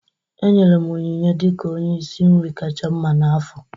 E nyere m onyinye dị ka onye isi nri kacha mma n'afọ